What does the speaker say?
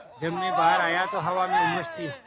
जब मैं बाहर आया तो हवा में उमस थी